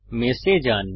mesh এ যান